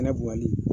Kɛnɛ bonyali